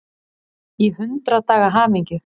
Í hundrað daga hamingju.